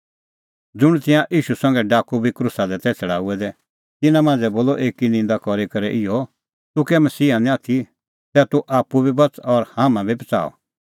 ज़ुंण तिंयां ईशू संघै डाकू बी क्रूसा दी तै छ़ड़ाऊऐ दै तिन्नां मांझ़ै बोलअ एकी निंदा करी करै इहअ तूह कै मसीहा निं आथी तै तूह आप्पू बी बच़ और हाम्हां बी बच़ाऊ